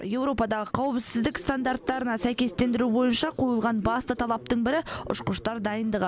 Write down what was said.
европадағы қауіпсіздік стандартарына сәйкестендіру бойынша қойылған басты талаптың бірі ұшқыштар дайындығы